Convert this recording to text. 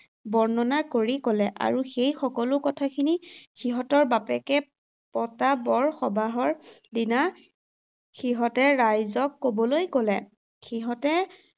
বৰ্ণনা কৰি ক’লে আৰু সেই সকলো কথাখিনি সিহঁতৰ বাপেকে পতা বৰ সবাহৰ দিনা সিহঁতে ৰাইজক ক’বলৈ ক’লে। সিহঁতে